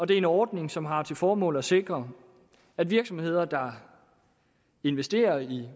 det er en ordning som har til formål at sikre at virksomheder der investerer i